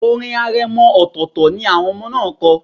Orin aremọ ọltọ̀tọltọ̀ ni àwọn ọmọ náà kọ.